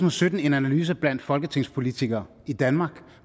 og sytten en analyse blandt folketingspolitikere i danmark